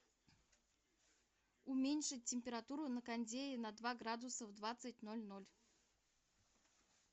уменьшить температуру на кондее на два градуса в двадцать ноль ноль